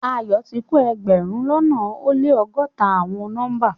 Ayo ti ko egberun lona o le ọgọta awọn nọmba